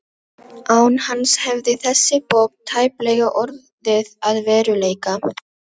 Án hans hefði þessi bók tæplega orðið að veruleika.